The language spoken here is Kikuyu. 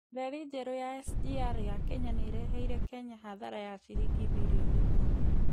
Reri njerũ ya SGR ya Kenya nĩ ĩreheire Kenya hathara ya ciringi birioni ikũmi.